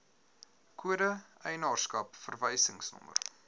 kode eienaarskap verwysingsnommer